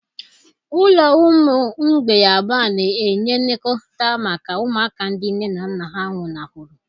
Ụlọ ụmụ mgbei abụọ na-enye nlekọta maka ụmụaka ndị nne na nna nwụnahụrụ.